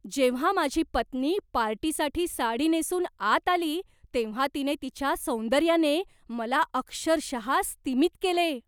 जेव्हा माझी पत्नी पार्टीसाठी साडी नेसून आत आली तेव्हा तिने तिच्या सौंदर्याने मला अक्षरशः स्तिमित केले.